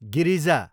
Girija